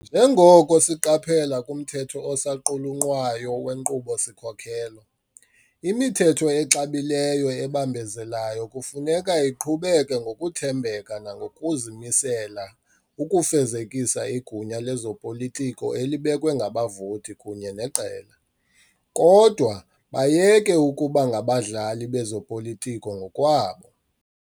Njengoko siqaphela kumthetho osaqulunqwayo wenkqubo-sikhokelo, "imithetho exabileyo ebambezelayo kufuneka iqhubeke ngokuthembeka nangokuzimisela ukufezekisa igunya lezopolitiko elibekwe ngabavoti kunye neqela, kodwa bayeke ukuba ngabadlali bezopolitiko ngokwabo."